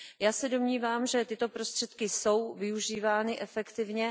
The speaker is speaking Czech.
Já se domnívám, že tyto prostředky jsou využívány efektivně.